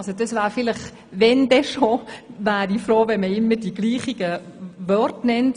Wenn schon, wäre ich froh, wenn immer dieselben Begriffe verwendet würden.